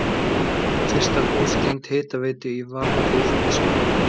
Fyrsta hús tengt hitaveitu í Varmahlíð í Skagafirði.